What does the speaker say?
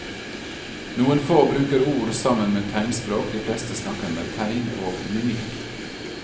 Noen få bruker ord sammen med tegnspråk, de fleste snakker med tegn og mimikk.